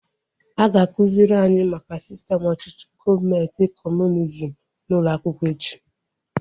A ga-akụziri anyị maka sistem ọchịchị gọọmenti kọmunizm n'ụlọ akwụkwọ echi